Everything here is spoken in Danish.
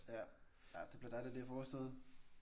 Ja. Ja det bliver dejligt lige at få overstået